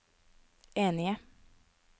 enige